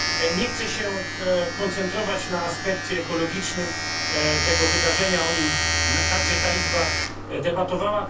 Nie chcę się koncentrować na aspekcie ekologicznym tego wydarzenia, o nim także ta Izba debatowała.